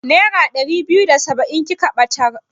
Nera ɗari biyu da saba'in kika ɓatar?